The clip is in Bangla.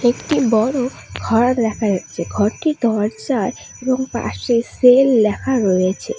একটি বড় ঘর দেখা যাচ্ছে ঘরটির দরজায় এবং পাশে সেল লেখা রয়েছে।